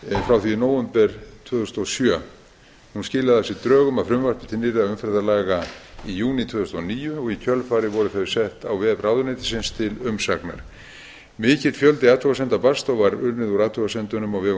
frá því í nóvember tvö þúsund og sjö hún skilaði af sér drögum að frumvarpi til nýrra umferðarlaga í júní tvö þúsund og níu og í kjölfarið voru þau sett á vef ráðuneytisins til umsagnar mikill fjöldi athugasemda barst og var unnið úr athugasemdunum á vegum